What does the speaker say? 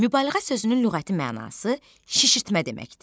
Mübaliğə sözünün lüğəti mənası şişirtmə deməkdir.